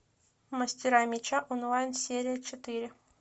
мастера меча онлайн серия четыре